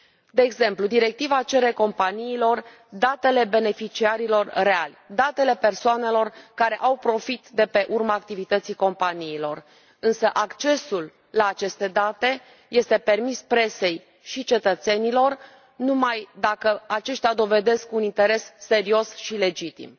De exemplu, directiva cere companiilor datele beneficiarilor reali, datele persoanelor care au profit de pe urma activității companiilor, însă accesul la aceste date este permis presei și cetățenilor numai dacă aceștia dovedesc un interes serios și legitim.